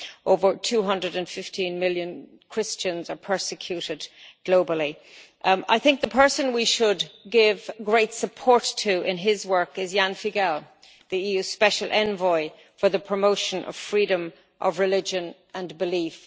Over 215 million Christians are persecuted globally. I think the person we should give great support to in his work is Ján Figeľ, the EU Special Envoy for the promotion of freedom of religion and belief.